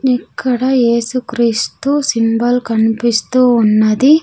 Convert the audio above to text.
ఇక్కడ యేసుక్రీస్తు సింబల్ కనిపిస్తూ ఉన్నది.